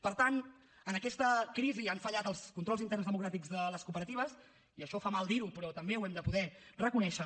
per tant en aquesta crisi han fallat els controls interns democràtics de les cooperatives i això fa mal dir ho però també ho hem de poder reconèixer